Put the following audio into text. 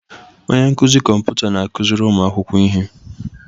Onye nkụzi kọmputa na-akụziri ụmụ akwụkwọ ihe.